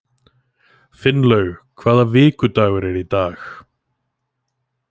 Finnlaug, hvaða vikudagur er í dag?